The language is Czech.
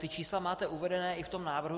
Ta čísla máte uvedena i v tom návrhu.